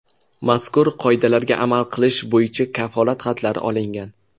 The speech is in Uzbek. Mazkur qoidalarga amal qilish bo‘yicha kafolat xatlari olingan.